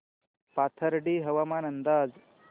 पाथर्डी हवामान अंदाज